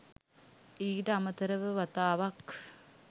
ඊට අමතරව වතාවක්